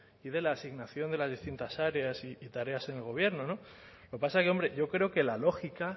y de la asignación de las distintas áreas y tareas en el gobierno no lo que pasa que hombre yo creo que la lógica